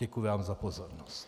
Děkuji vám za pozornost.